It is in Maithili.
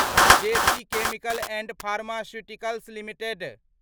जे B chemicals and pharmaceuticals limited